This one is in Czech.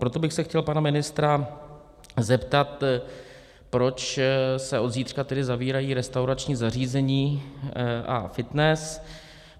Proto bych se chtěl pana ministra zeptat, proč se od zítřka tedy zavírají restaurační zařízení a fitness.